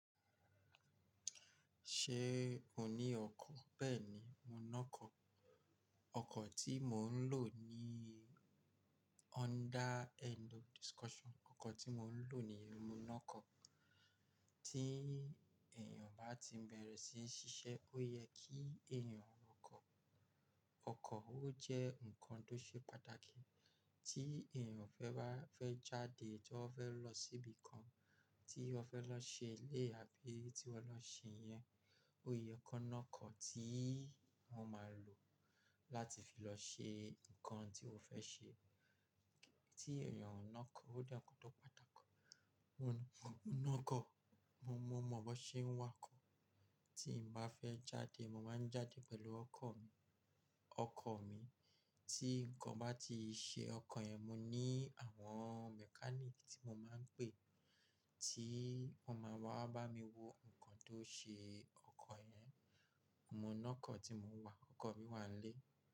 Ṣé o ní ọkọ̀? Bẹ́ẹ̀ni, mo lo kọ̀. Ọkọ̀ tí mò ń lò ní honda end of discussion. Ọkọ̀ tí mò ń lò ni mo lọkọ̀. Tí èèyàn bá ti bẹ̀rẹ̀ sí n ṣiṣẹ́, ó yẹ kí èèyàn lokọ̀. Ọkọ̀ ó jẹ́ nǹkan tó ṣe pàtàkì. Tí èèyàn fẹ́ bá fẹ́ jáde, tí wón fẹ́ lọ síbi kan, tí won fẹ́ lọ ṣe ilé àbí tí won lọ ṣe iyẹn, ó yẹ kó lọkọ̀ tí wọ́n máa lò láti fi lọ ṣe nǹkan tí ó fẹ́ ṣe. Tí èèyàn ò ná ọkọ̀, ó jẹ́ nǹkan tó pàtàkì. Mo lọkọ̀, mo mọ bó ṣe ń wa ọkọ̀. Tí n bá fẹ́ jáde, mo máa ń jáde pẹ̀lú ọkọ̀ mi. Ọkọ̀ mi, tí nǹkan bá ti ṣe ọkọ̀ yẹn, mo ní àwọn mechanic tí mo máa ń pè, tí wọ́n máa wá bá mi wo nǹkan tó ṣe ọkọ̀ yẹn. Mo lọkọ̀ tí mo wà, ọkọ̀ mi wà nlé.